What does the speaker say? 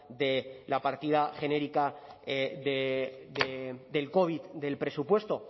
de la partida genérica del covid del presupuesto